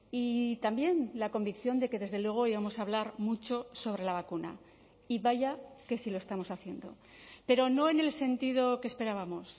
y también la convicción de que desde luego íbamos a hablar mucho sobre la vacuna y vaya que si lo estamos haciendo pero no en el sentido que esperábamos